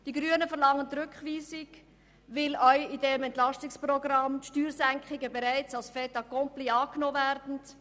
Die Grünen beantragen die Rückweisung, weil auch in diesem EP Steuersenkungen bereits als Fait accompli angenommen werden.